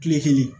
Kile kelen